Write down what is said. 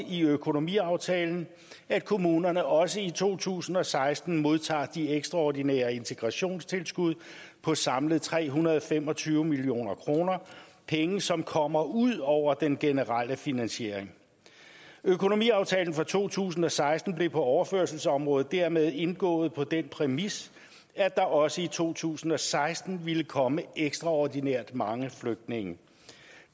i økonomiaftalen at kommunerne også i to tusind og seksten modtager de ekstraordinære integrationstilskud på samlet tre hundrede og fem og tyve million kr penge som kommer ud over den generelle finansiering økonomiaftalen for to tusind og seksten blev på overførselsområdet dermed indgået på den præmis at der også i to tusind og seksten vil komme ekstraordinært mange flygtninge